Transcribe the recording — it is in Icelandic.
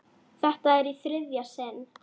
Þetta er í þriðja sinn.